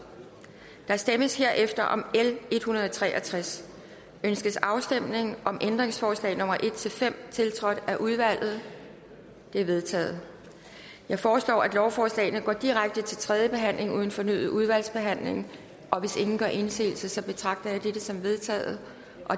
der stemmes herefter om l en hundrede og tre og tres ønskes afstemning om ændringsforslag nummer en fem tiltrådt af udvalget de er vedtaget jeg foreslår at lovforslagene går direkte til tredje behandling uden fornyet udvalgsbehandling hvis ingen gør indsigelse betragter jeg dette som vedtaget